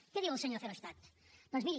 què diu el senyor verhofstadt doncs miri